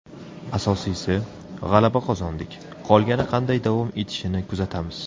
Asosiysi, g‘alaba qozondik, qolgani qanday davom etishini kuzatamiz.